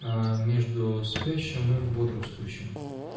а между спящим и бодрствующим